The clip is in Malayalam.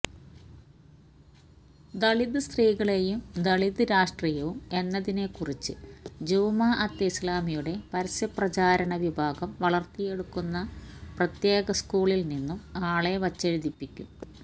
ദളിത് സ്ത്രീകളും ദളിത് രാഷ്ട്രീയവും എന്നതിനെക്കുറിച്ച് ജമാഅത്തെ ഇസ്ലാമിയുടെ പരസ്യപ്രചാരണ വിഭാഗം വളര്ത്തിയെടുക്കുന്ന പ്രത്യേക സ്കൂളില് നിന്നും ആളെ വെച്ചെഴുതിപ്പിക്കും